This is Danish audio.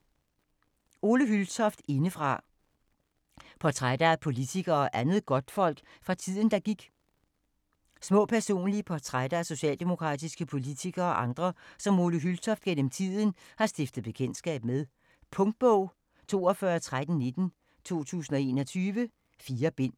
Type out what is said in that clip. Hyltoft, Ole: Indefra: portrætter af politikere og andet godtfolk fra tiden der gik Små personlige portrætter af socialdemokratiske politikere og andre, som Ole Hyltoft gennem tiden har stiftet bekendtskab med. Punktbog 421319 2021. 4 bind.